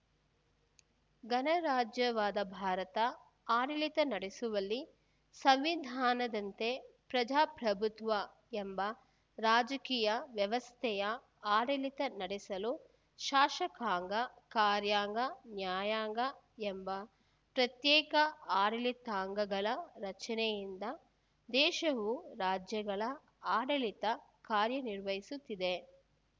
ಗಣರಾಜ್ಯವಾದ ಭಾರತ ಆಡಳಿತ ನಡೆಸುವಲ್ಲಿ ಸಂವಿಧಾನದಂತೆ ಪ್ರಜಾಪ್ರಭುತ್ವ ಎಂಬ ರಾಜಕೀಯ ವ್ಯವಸ್ಥೆಯ ಆಡಳಿತ ನಡೆಸಲು ಶಾಸಕಾಂಗ ಕಾರ್ಯಾಂಗ ನ್ಯಾಯಾಂಗ ಎಂಬ ಪ್ರತ್ಯೇಕ ಆಡಳಿತಾಂಗಗಳ ರಚನೆಯಿಂದ ದೇಶವು ರಾಜ್ಯಗಳ ಆಡಳಿತ ಕಾರ್ಯನಿರ್ವಹಿಸುತ್ತಿದೆ